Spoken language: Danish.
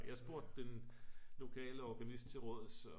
jeg spurgte den lokale organist til råds så